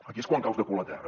aquí és quan caus de cul a terra